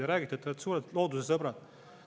Te räägite, et te olete suured loodusesõbrad.